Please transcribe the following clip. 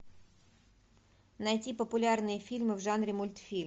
найти популярные фильмы в жанре мультфильм